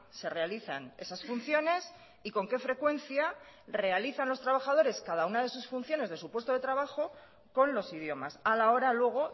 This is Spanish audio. se realizan esas funciones y con qué frecuencia realizan los trabajadores cada una de sus funciones de su puesto de trabajo con los idiomas a la hora luego